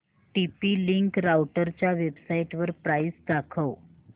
TP Link राउटरच्या वेबसाइटवर price दाखव